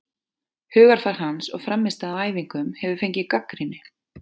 Hugarfar hans og frammistaða á æfingum hefur fengið gagnrýni.